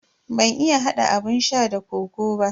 Ban iya hada abun sha da kokoo ba.